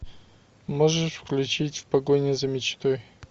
можешь включить в погоне за мечтой